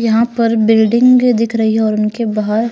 यहां पर बिल्डिंग दिख रही है और उनके बाहर